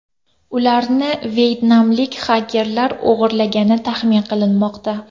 Ularni vyetnamlik xakerlar o‘g‘irlagani taxmin qilinmoqda.